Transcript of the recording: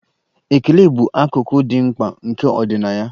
Ekele bụ akụkụ dị mkpa nke ọdịnaya.